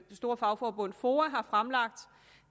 store fagforbund foa har fremlagt